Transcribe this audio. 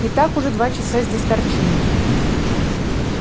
и так уже два часа здесь торчим